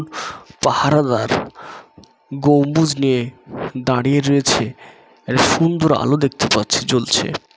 পাহারাদার গম্বুজ নিয়ে দাঁড়িয়ে রয়েছে এটা সুন্দর আলো দেখতে পাচ্ছি জ্বলছে।